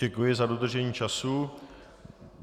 Děkuji za dodržení času.